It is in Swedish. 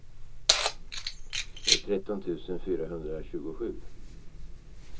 tretton tusen fyrahundratjugosju